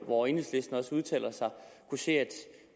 hvor enhedslisten også udtaler sig kunne se at